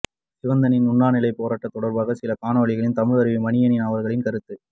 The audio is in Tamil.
சிவந்தனின் உண்ணாநிலை போராட்டம் தொடர்பாக சில காணொளிகளும் தமிழருவி மணியன் அவர்களின் கருத்தும்